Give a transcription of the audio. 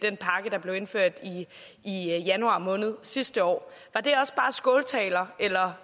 den pakke der blev indført i januar måned sidste år var det også bare skåltaler eller